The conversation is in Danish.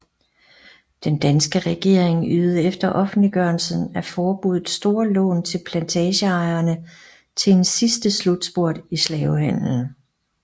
Den danske regering ydede efter offentliggørelsen af forbuddet store lån til plantageejerne til en sidste slutspurt i slavehandelen